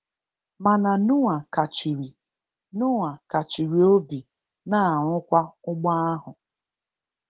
Mana Noah kachiri Noah kachiri obi na-arụ kwa ụgbọ ahụ.